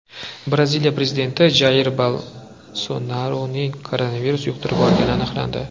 Braziliya prezidenti Jair Bolsonaruning koronavirus yuqtirib olgani aniqlandi.